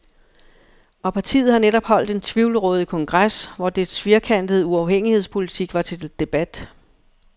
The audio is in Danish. Og partiet har netop holdt en tvivlrådig kongres, hvor dets firkantede uafhængighedspolitik var til debat.